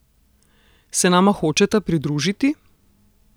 Se nama hočeta pridružiti?